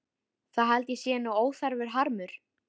Það held ég sé nú óþarfur harmur.